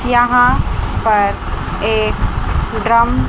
यहां पर एक ड्रम --